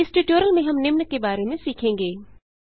इस ट्यूटोरियल में हम निम्न के बारे में सीखेंगे